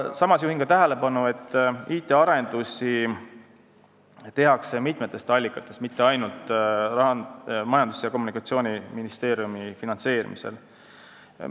Samas ütlen, et IT-arendusi tehakse mitmest allikast, mitte ainult Majandus- ja Kommunikatsiooniministeeriumi finantseerimisel.